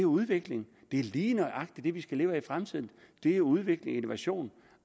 udvikling det er lige nøjagtig det vi skal leve af i fremtiden det er udvikling og innovation